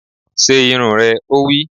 Se irun rẹ! Ó wí